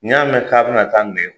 Ni y'a mɛn ka be na taa